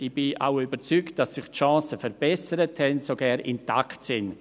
Ich bin auch überzeugt, dass sich die Chancen dafür verbessert haben, ja sogar intakt sind.